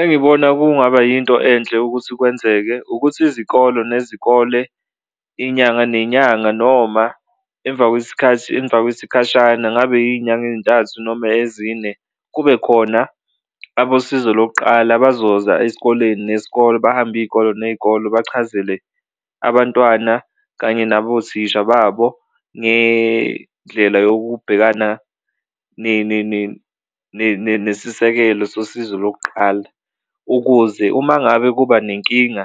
Engibona kungaba yinto enhle ukuthi kwenzeke ukuthi izikolo nezikole, inyanga nenyanga noma emva kwesikhathi, emva kwesikhashana ngabe yiy'nyanga ey'ntathu noma ezine kube khona abosizo lokuqala abazoza esikoleni nesikole, bahambe iy'kole ney'kole bachazele abantwana kanye nabothisha babo ngendlela yokubhekana nesisekelo sosizo lokuqala. Ukuze uma ngabe kuba nenkinga